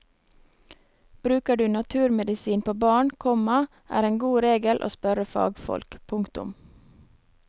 Bruker du naturmedisin på barn, komma er en god regel å spørre fagfolk. punktum